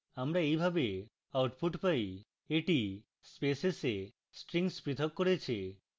আমরা এইভাবে output পাই এটি spaces we strings পৃথক করেছে